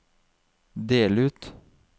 del ut